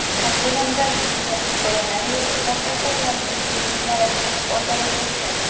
Kartinamda bibliya hikoyalari-yu sharq ertaklarining syujetlari o‘zaro kesishadi.